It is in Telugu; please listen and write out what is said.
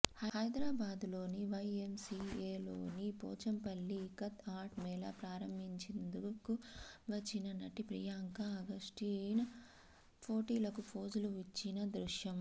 హైదరాబాదులోని వైఎంసిఏలోని పోచంపల్లి ఇకత్ ఆర్ట్ మేళా ప్రారంభించిందుకు వచ్చిన నటి ప్రియాంక అగస్టీన్ ఫోటోలకు ఫోజులు ఇచ్చిన దృశ్యం